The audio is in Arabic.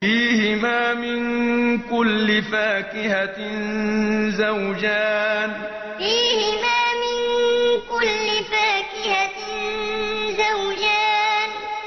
فِيهِمَا مِن كُلِّ فَاكِهَةٍ زَوْجَانِ فِيهِمَا مِن كُلِّ فَاكِهَةٍ زَوْجَانِ